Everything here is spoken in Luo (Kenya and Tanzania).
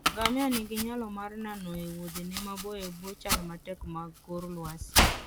Ngamia nigi nyalo mar nano e wuodhene maboyo e bwo chal matek mag kor lwasi.